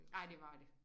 Ej det var det